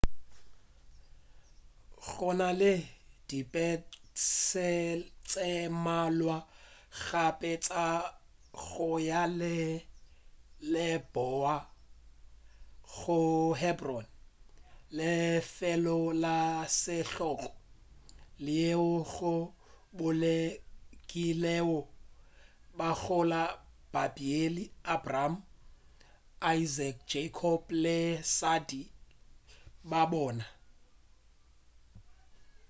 gona le dipese tše mmalwa gape tša go ya leboa go hebron lefelo la setlogo leo go bolokewego bagolo ba bibele abraham isaac jacob le basadi ba bona